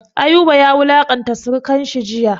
Ayuba ya wulanƙanta sirikan shi jiya.